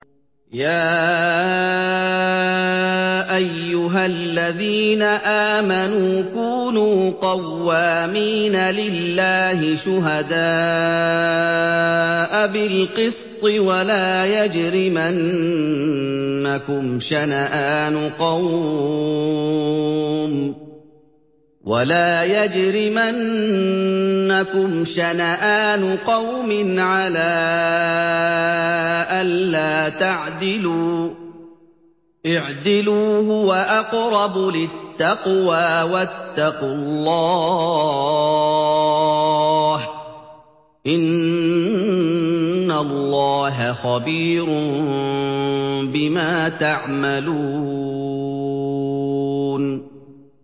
يَا أَيُّهَا الَّذِينَ آمَنُوا كُونُوا قَوَّامِينَ لِلَّهِ شُهَدَاءَ بِالْقِسْطِ ۖ وَلَا يَجْرِمَنَّكُمْ شَنَآنُ قَوْمٍ عَلَىٰ أَلَّا تَعْدِلُوا ۚ اعْدِلُوا هُوَ أَقْرَبُ لِلتَّقْوَىٰ ۖ وَاتَّقُوا اللَّهَ ۚ إِنَّ اللَّهَ خَبِيرٌ بِمَا تَعْمَلُونَ